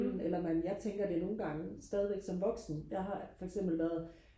eller man jeg tænker det nogle gange stadigvæk som voksen jeg har for eksempel været